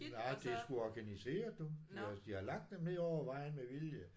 Nej det er sgu organiseret du de har de har lagt dem ned over vejen med vilje